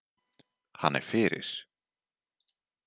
Hann er fyrir.